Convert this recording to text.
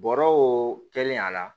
Bɔrɔw kɛlen a la